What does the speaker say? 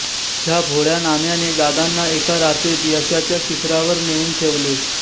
ह्या भोळ्या नाम्या ने दादांना एका रात्रीत यशाच्या शिखरावर नेऊन ठेवले